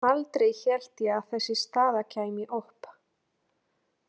Aldrei hélt ég að þessi staða kæmi upp.